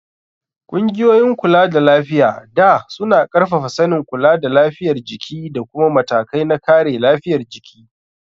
Ƙungiyoyin kulada lafiya da suna ƙarfafa sanin kula da lafiyar jiki da kuma matakai na kare lafiyar jiki.